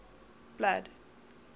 blood